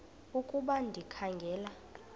ukuba ndikha ngela